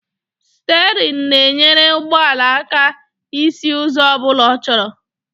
Sterịn na-enyere ụgbọala aka isi ụzọ ọbụla ọ chọrọ